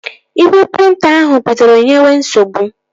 Igwe prịnta ahụ bidoro nyebe nsogbu